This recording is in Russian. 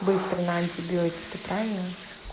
быстро на антибиотики правильно